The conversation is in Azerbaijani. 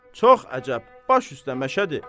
Çox əcəb, baş üstdə Məşədi.